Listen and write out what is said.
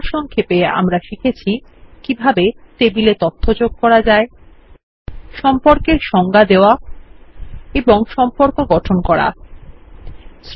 সারসংক্ষেপে আমরা শিখেছি কিভাবে টেবিলে তথ্য যোগ করা যায় সম্পর্কের সংজ্ঞা দেওয়া ও সম্পর্ক গঠন করা যায়